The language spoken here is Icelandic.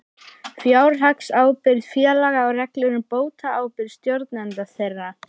Fjárhagsábyrgð félaga og reglur um bótaábyrgð stjórnenda þeirra.